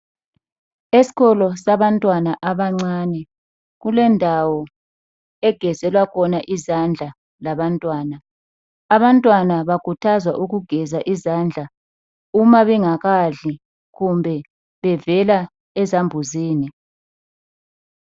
Esikolo sabantwana abancane kulendawo egezelwa khona izandla labantwana, abantwana bakhuthazwa ukugeza izandla uma bengakadli kumbe bevela ezambuzini.